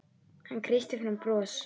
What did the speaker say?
Hann kreisti fram bros.